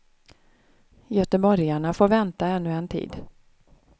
Göteborgarna får vänta ännu en tid.